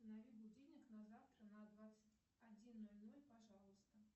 установи будильник на завтра на двадцать один ноль ноль пожалуйста